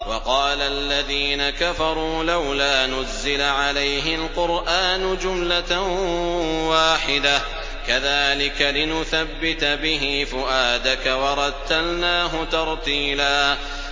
وَقَالَ الَّذِينَ كَفَرُوا لَوْلَا نُزِّلَ عَلَيْهِ الْقُرْآنُ جُمْلَةً وَاحِدَةً ۚ كَذَٰلِكَ لِنُثَبِّتَ بِهِ فُؤَادَكَ ۖ وَرَتَّلْنَاهُ تَرْتِيلًا